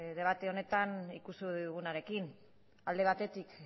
debate honetan ikusi digunarekin alde batetik